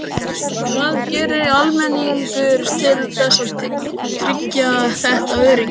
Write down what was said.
Hvað gerir almenningur til þess að tryggja þetta öryggi?